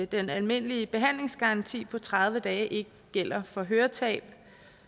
den almindelige behandlingsgaranti på tredive dage ikke gælder for høretab